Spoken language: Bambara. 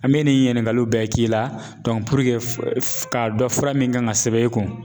An bɛ nin ɲininkaliw bɛɛ k'i la k'a dɔn fura min kan ka sɛbɛn i kun.